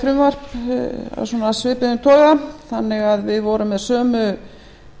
frumvarp af svipuðum toga þannig að við vorum með sömu